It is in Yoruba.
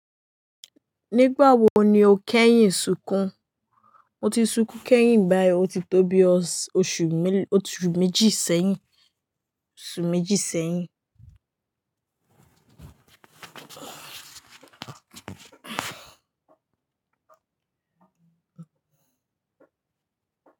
Nígbà wo ni o kẹ́yìn sunkún? Mo ti sunkún kẹ́yìn báyìí o ti tó bí oṣù méjì sẹ́yìn osu meji seyin.